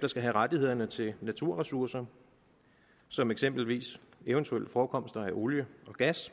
der skal have rettighederne til naturressourcer som eksempelvis eventuelle forekomster af olie og gas